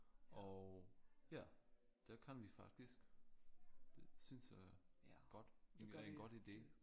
Og ja der kan vi faktisk det synes jeg godt det er en godt ide